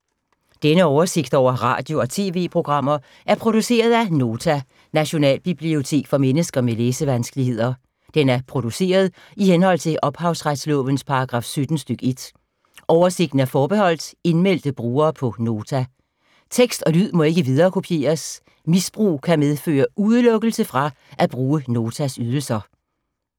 Denne oversigt over radio og TV-programmer er produceret af Nota, Nationalbibliotek for mennesker med læsevanskeligheder. Den er produceret i henhold til ophavsretslovens paragraf 17 stk. 1. Oversigten er forbeholdt indmeldte brugere på Nota. Tekst og lyd må ikke viderekopieres. Misbrug kan medføre udelukkelse fra at bruge Notas ydelser.